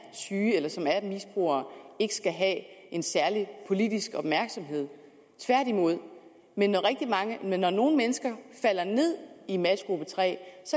syge eller som er misbrugere ikke skal have en særlig politisk opmærksomhed tværtimod men når når nogle mennesker falder ned i matchgruppe tre